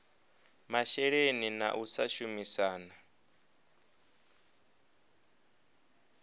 masheleni na u sa shumisana